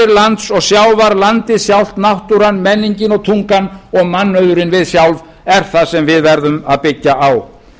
lands og sjávar landið sjálft náttúran menningin og tungan og mannauðurinn við sjálf erum það sem við verðum að byggja á